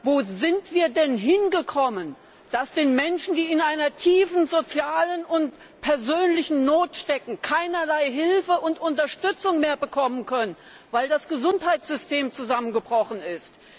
Wo sind wir denn hingekommen, dass die Menschen, die in einer tiefen sozialen und persönlichen Not stecken, keinerlei Hilfe und Unterstützung mehr bekommen können, weil das Gesundheitssystem zusammengebrochen ist?